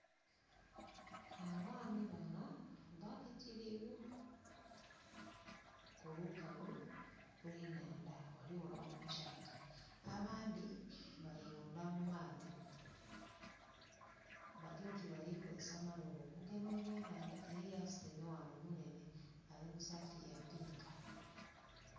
Abaami bano, babitirivu ku lukalu lw'enhandha, ghaligho n'omukyanga. Abandhi bali mundha mu maadhi, bali oti balikozesa amalobo okugema eby'enhandha, eriyo asuntumaile ghano ayambaile esaati ya pinka.